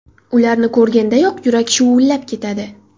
Ularni ko‘rgandayoq yurak shuvullab ketadi!